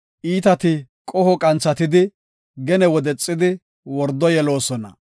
Iitati qoho qanthatidi, gene wodexidi, wordo yeloosona.